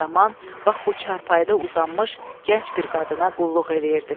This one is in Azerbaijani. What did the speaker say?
Bir zaman bax bu çarpayıda uzanmış gənc bir qadına qulluq eləyirdim.